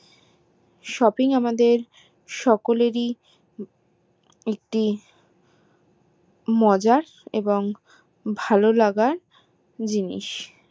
shopping আমাদের সকলেরই একটি মজার এবং ভালো লাগার জিনিস